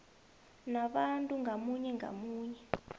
nabantu ngamunye ngamunye